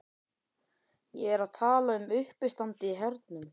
Ég er að tala um uppistandið í hernum.